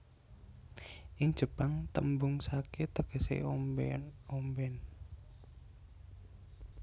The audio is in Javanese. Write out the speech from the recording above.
Ing Jepang tembung sake tegese omben omben